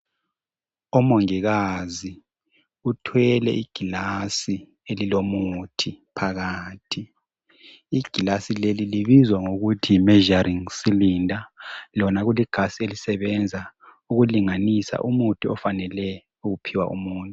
Umongikazi uthwele igilazi elilomuthi phakathi igilazi leli libizwa ngokuthi yi measuring cylinder lona kuligilazi elisebenza ukulinganisa umuthi ofanele ukuphiwa umuntu.